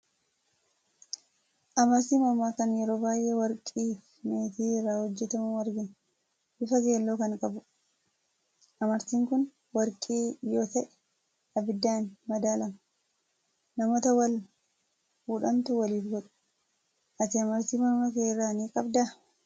Amartii mormaa kan yeroo baay'ee warqii fi meetii irraa hojjetamu argina. Bifa keelloo kan qabudha. Amartiin kun warqii yoo ta'e, abiddaan madaalama. Namoota wal fuudhantu waliif godha. Ati amartii morma kee irraa ni qabdaa?